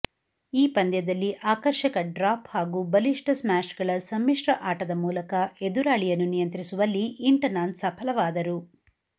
ಈ ಪಂದ್ಯದಲ್ಲಿ ಆಕರ್ಷಕ ಡ್ರಾಪ್ ಹಾಗೂ ಬಲಿಷ್ಠ ಸ್ಮ್ಯಾಷ್ಗಳ ಸಮ್ಮಿಶ್ರ ಆಟದ ಮೂಲಕ ಎದುರಾಳಿಯನ್ನು ನಿಯಂತ್ರಿಸುವಲ್ಲಿ ಇಂಟನಾನ್ ಸಫಲವಾದರು